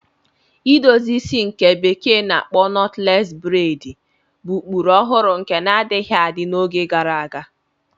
Edozi isi ndi bekee na-akpo Knotless braidi bụ ụkpụrụ ọhụrụ nke na-adịghị adị n'oge gara aga.